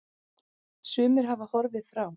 Sumir hafa horfið frá.